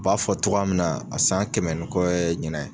U b'a fɔ cogoya min na a san kɛmɛ ni kɔ ye ɲinan ye.